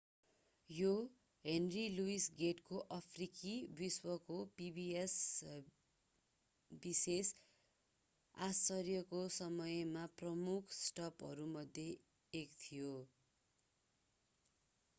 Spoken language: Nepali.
यो henry louis gates को अफ्रिकी विश्वको pbs विशेष आश्चर्यको समयमा प्रमुख स्टपहरूमध्ये एक थियो